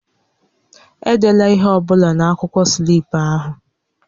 Edela ihe ọ bụla na-akwụkwọ slip ahụ!